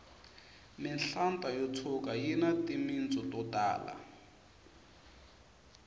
mihlata yo tshuka yini timitsu to tala